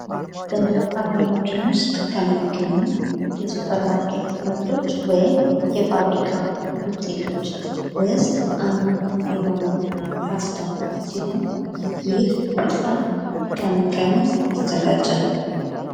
ሀገራችን ውስጥ ከሚገኙ የሱፐርማርኬት ምርቶች ወይም የፋብሪካ ውጤቶች ውስጥ አንዱ የሆነው ፓስታ ሲሆን ፤ ይህ ፓስታ ከምን ከምን ይዘጋጃል?